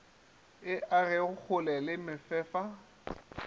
e age kgole le mefefa